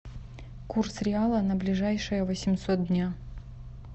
курс реала на ближайшие восемьсот дня